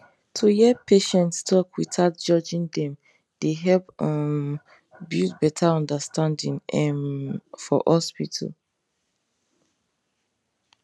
to hear patients talk without judging dem dey help um build better understanding um for hospital